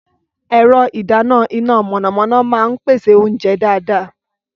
Ẹ̀rọ ìdáná iná mọ̀nàmọ́ná máa ń pèsè oúnjẹ dáadáa.